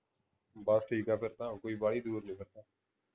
ਬਸ ਠੀਕ ਹੈ ਫੇਰ ਤਾਂ ਉਹ ਕੋਈ ਬਾਲੀ ਦੂਰ ਆ